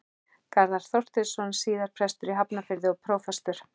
Garðar Þorsteinsson, síðar prestur í Hafnarfirði og prófastur.